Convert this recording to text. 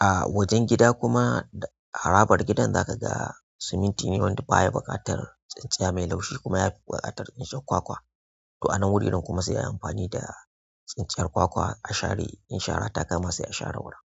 ah wajen gida kuma harabar gidan za ka ga siminti ne wanda baya buƙatar tsintsiya mai laushi kuma yafi buƙatar tsintsiyar kwakwa. To anan wureran kuma sai ayi amfani da tsintsiyar kwakwa a share in shara ta kama se a share wurin.